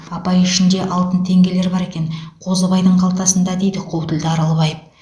апай ішінде алтын теңгелер бар екен қозыбайдың қалтасында дейді қу тілді аралбаев